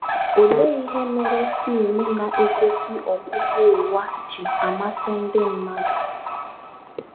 Olee ihe mere fim na - egosi ọgwụgwụ ụwa ji amasị ndị mmadụ?